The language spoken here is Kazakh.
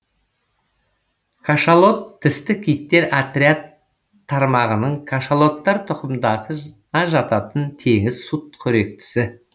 кашалот тісті киттер отряд тармағының кашалоттар тұқымдасына жататын теңіз сүтқоректісі